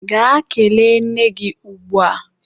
Gaa kelee nne gị ugbua!